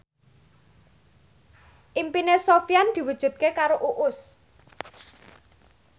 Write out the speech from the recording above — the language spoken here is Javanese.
impine Sofyan diwujudke karo Uus